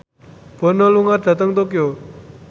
Bono lunga dhateng Tokyo